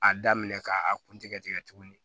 A daminɛ k'a kun tɛgɛ tigɛ tigɛ tuguni